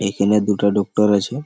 এইখেনে দুটা ডক্টর আছে।